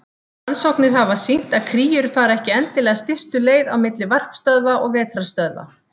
Rannsóknir hafa sýnt að kríur fara ekki endilega stystu leið á milli varpstöðva og vetrarstöðva.